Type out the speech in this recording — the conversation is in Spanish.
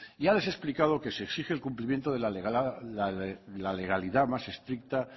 ya les he explicado que se exige el cumplimiento de la legalidad más estricta